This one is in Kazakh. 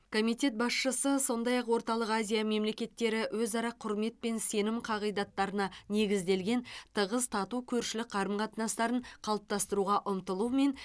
комитет басшысы сондай ақ орталық азия мемлекеттері өзара құрмет пен сенім қағидаттарына негізделген тығыз тату көршілік қарым қатынастарын қалыптастыруға ұмтылу мен